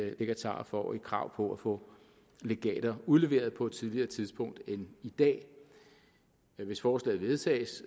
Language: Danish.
legatarer får et krav på at få legater udleveret på et tidligere tidspunkt end i dag hvis forslaget vedtages